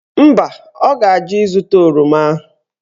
Mba, ọ ga-ajụ ịzụta oroma ahụ.